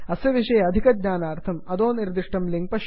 अस्य विषये अधिकज्ञानार्थं अधो विद्यमानं लिंक् पश्यन्तु